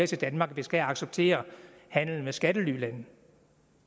til danmark at vi skal acceptere handel med skattelylande